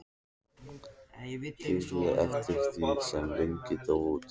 Dýpkaði eftir því sem lengra dró út.